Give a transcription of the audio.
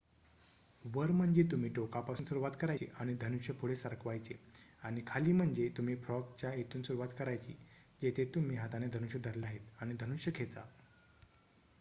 वर म्हणजे तुम्ही टोकापासून सुरुवात करायची आणि धनुष्य पुढे सरकवायचे आणि खाली म्हणजे तुम्ही फ्रॉग च्या येथून सुरुवात करायची जेथे तुम्ही हाताने धनुष्य धरले आहे आणि धनुष्य खेचा